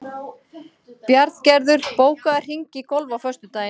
Bjarngerður, bókaðu hring í golf á föstudaginn.